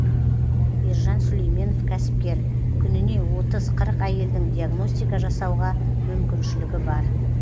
ержан сүлейменов кәсіпкер күніне отыз қырық әйелдің диагностика жасауға мүмкіншілігі бар